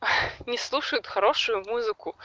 не слушают хорошую музыку